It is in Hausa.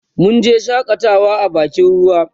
munje shakatawa a bakin ruwa